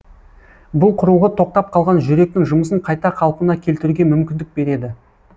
бұл құрылғы тоқтап қалған жүректің жұмысын қайта қалпына келтіруге мүмкіндік береді